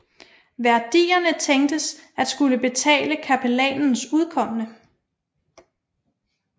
Værdierne tænktes at skulle betale kapellanens udkomme